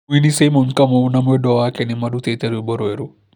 Mũini Simon Kamau na mwendwa wake nĩmarutĩte rwĩmbo rwerũ